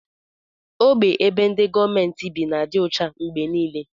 Ogbe ebe ndi gọọmenti bi n'adi ọcha mgbe nile.